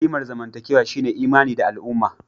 Kimar zamantakewa shine imani na al'umma